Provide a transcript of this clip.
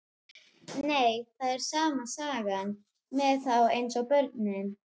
Nei, það er sama sagan með þá eins og börnin.